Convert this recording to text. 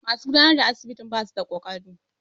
Masu gudanarwa a asibitin basu da kokari.